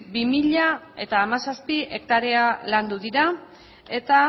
bi mila hamazazpi hektarea landu dira eta